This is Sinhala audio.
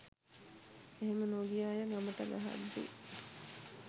එහෙම නොගිය අය ගමට ගහද්දි